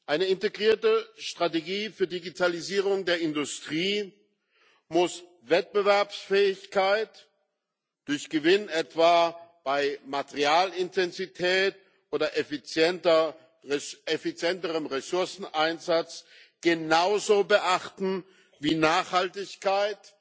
Eine integrierte Strategie für Digitalisierung der Industrie muss Wettbewerbsfähigkeit durch Gewinn etwa bei Materialintensität oder effizienterem Ressourceneinsatz genauso beachten wie Nachhaltigkeit